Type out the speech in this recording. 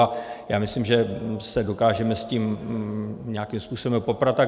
A já myslím, že se dokážeme s tím nějakým způsobem poprat.